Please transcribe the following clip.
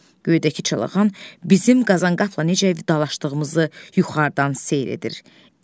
Göydəki çalağan bizim qazanqapla necə vidalaşdığımızı yuxarıdan seyr edir.